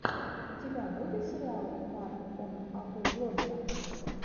у тебя будет сериал марк он агу блогера